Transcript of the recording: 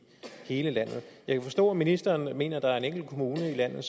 hele landet jeg kan forstå at ministeren mener at der er en enkelt kommune i landet